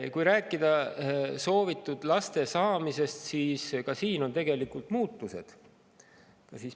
Kui rääkida soovitud laste saamisest, siis ka siin on tegelikult muutused.